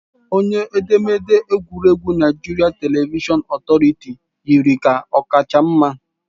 Onye edemede egwuregwu Naijiria Televishọn Otoritiiụ yiri ka ọ kacha mma